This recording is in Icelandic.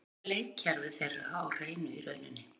Við vorum með leikkerfið þeirra á hreinu í rauninni.